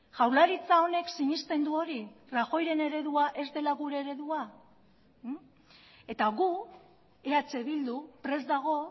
jaurlaritza honek sinesten du hori rajoyren eredua ez dela gure eredua eta gu eh bildu prest dago